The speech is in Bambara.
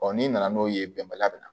n'i nana n'o ye bɛnbaliya bɛ na